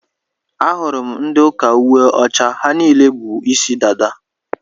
Ahụrụ m ndị ụka uwe ọcha, ha niile bú ịsị dada.